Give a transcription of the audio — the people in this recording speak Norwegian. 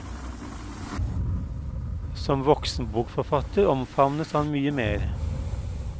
Som voksenbokforfatter omfavnes man mye mer.